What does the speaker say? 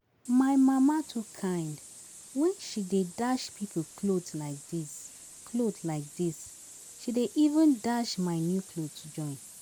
My mama too kind, when she dey dash people cloth like dis, cloth like dis, she dey even dash my new clothes join